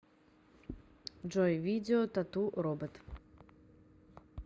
джой видео тату робот